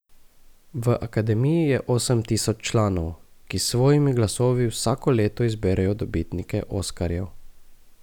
V Akademiji je osem tisoč članov, ki s svojimi glasovi vsako leto izberejo dobitnike oskarjev.